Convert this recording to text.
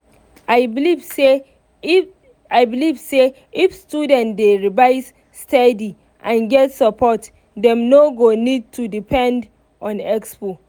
i believe say if i beleive say if students dey revise steady and get support dem no go need to depend on expo.